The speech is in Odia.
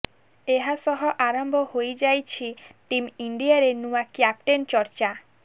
ଏହା ସହ ଆରମ୍ଭ ହୋଇଯାଇଛି ଟିମ୍ ଇଣ୍ଡିଆରେ ନୂଆ କ୍ୟାପ୍ଟେନ୍ ଚର୍ଚ୍ଚା